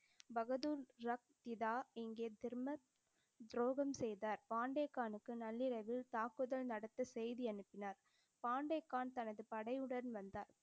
பகதூர் ரக் பிதா இங்கே திரும்பத் துரோகம் செய்தார். பாண்டே கானுக்கு நள்ளிரவில் தாக்குதல் நடத்த செய்தி அனுப்பினார். பாண்டே கான் தனது படையுடன் வந்தார்.